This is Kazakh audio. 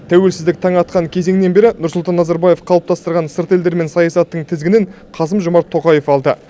тәуелсіздік таңы атқан кезеңнен бері нұрсұлтан назарбаев қалыптастырған сырт елдермен саясаттың тізгінін қасым жомарт тоқаев алды